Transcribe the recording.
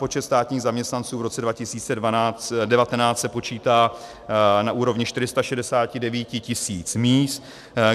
Počet státních zaměstnanců v roce 2019 se počítá na úrovni 469 tis. míst.